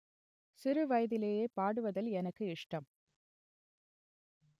சிறு வயதிலேயே பாடுவதில் எனக்கு இஷ்டம்